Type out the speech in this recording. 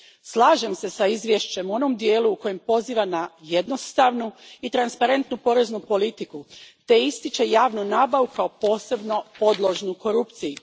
Slažem se s izvješćem u onom dijelu u kojem poziva na jednostavnu i transparentnu poreznu politiku te ističe javnu nabavu kao posebno podložnu korupciji.